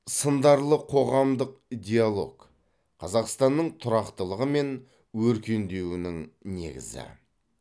сындарлы қоғамдық диалог қазақстанның тұрақтылығы мен өркендеуінің негізі